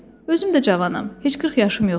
Özüm də cavanam, heç 40 yaşım yoxdur.